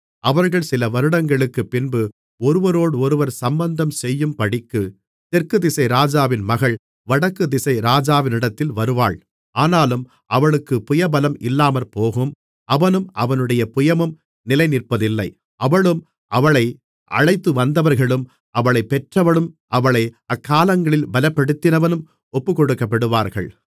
அவர்கள் சில வருடங்களுக்குப் பின்பு ஒருவரோடொருவர் சம்பந்தம்செய்யும்படிக்குத் தெற்கு திசை ராஜாவின் மகள் வடக்குதிசை ராஜாவினிடத்தில் வருவாள் ஆனாலும் அவளுக்குப் புயபலம் இல்லாமற்போகும் அவனும் அவனுடைய புயமும் நிலைநிற்பதில்லை அவளும் அவளை அழைத்துவந்தவர்களும் அவளைப் பெற்றவனும் அவளை அக்காலங்களில் பலப்படுத்தினவனும் ஒப்புக்கொடுக்கப்படுவார்கள்